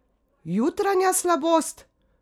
Jutranja slabost?